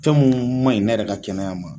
Fɛn munnu man ɲi ne yɛrɛ ka kɛnɛya ma.